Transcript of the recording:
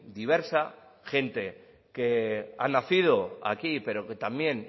diversa gente que ha nacido aquí pero que también